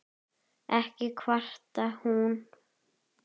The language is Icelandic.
Ekki kvartar hún